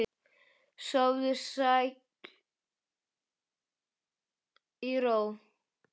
Sofðu sæll í ró.